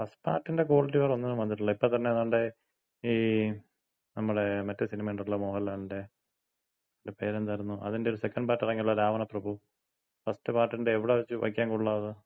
ആ ഫസ്റ്റ് പാർട്ടിന്‍റെ ക്വാളിറ്റി വേറൊന്നിനും വന്നിട്ടില്ല, ഇപ്പൊത്തന്നെ ദേണ്ടെ ഈ നമ്മള മറ്റേ സിനിമയൊണ്ടല്ലോ മോഹൻലാലിന്‍റെ. അതിന്‍റ പേരെന്തായിരുന്നു? അതിന്‍റ ഒര് സെക്കന്‍റ് പാർട്ട് ഇറങ്ങിയല്ലോ, രാവണപ്രഭു. ഫസ്റ്റ് പാർട്ടിന്‍റെ എവിട വയ്ക്കാകൊള്ളാം അത്?